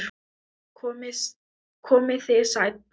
Komið þið sæl.